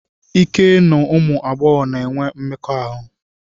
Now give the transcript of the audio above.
Ike n'ụmụ agbọghọ na-enwe mmekọahụ.